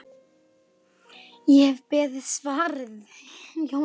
Ég hef beðið, svaraði Jón Arason.